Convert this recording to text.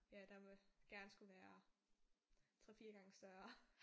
Ja der må gerne skulle være 3 4 gange større